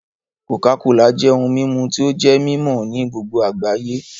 cocacola jẹ ohùn mímú tí o jé mimọ ní gbogbo agbayé